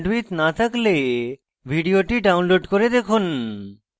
ভাল bandwidth না থাকলে ভিডিওটি download করে দেখুন